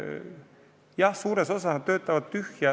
Jah, suures osas nad töötavad tühja.